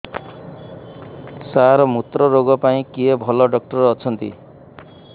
ସାର ମୁତ୍ରରୋଗ ପାଇଁ କିଏ ଭଲ ଡକ୍ଟର ଅଛନ୍ତି